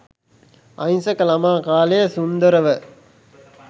අහිංසක ළමා කාලය සුන්දරව